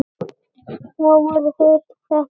Þá voru þeir settir niður.